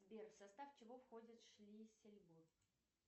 сбер в состав чего входит шлиссельбург